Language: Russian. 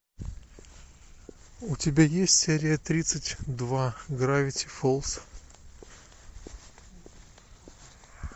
у тебя есть серия тридцать два гравити фолз